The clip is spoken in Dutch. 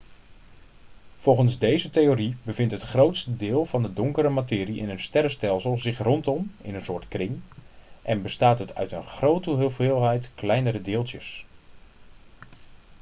volgens deze theorie bevindt het grootste deel van de donkere materie in een sterrenstelsel zich rondom in een soort kring en bestaat het uit een grote hoeveelheid kleinere deeltjes